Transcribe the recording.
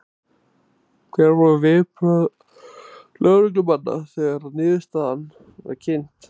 Hver voru viðbrögð lögreglumanna þegar að niðurstaðan var kynnt?